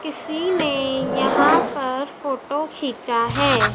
किसी ने यहां पर फोटो खींचा है।